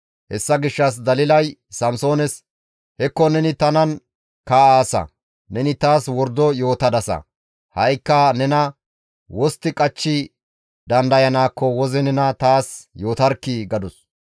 Hessa gishshas Dalilay Samsoones, «Hekko neni tanan kaa7aasa; neni taas wordo yootadasa. Ha7ikka nena wostti qachchi dandayanaakko woze nena taas yootarkkii!» gadus.